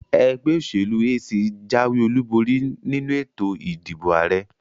Ẹgbẹ́ òṣèlú AC jáwé olúborí nínu ètò ìdìbò àrẹ.